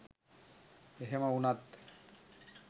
එහෙම වුණත්